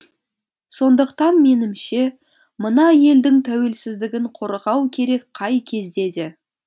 сондықтан менімше мына елдің тәуелсіздігін қорғау керек қай кезде де